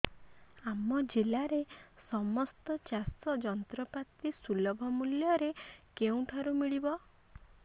ଆମ ଜିଲ୍ଲାରେ ସମସ୍ତ ଚାଷ ଯନ୍ତ୍ରପାତି ସୁଲଭ ମୁଲ୍ଯରେ କେଉଁଠାରୁ ମିଳିବ